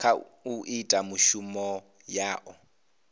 kha u ita mishumo yao